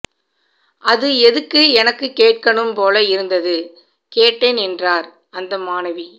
அது எதுக்கு எனக்கு கேட்கணும் போல இருந்தது கேட்டேன் என்றார் அந்த மாணவி